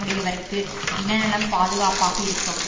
உடையவர்க்கு இனநலம் பாதுகாப்பாக இருக்கும்